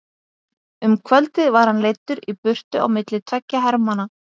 Um kvöldið var hann leiddur í burtu á milli tveggja hermanna.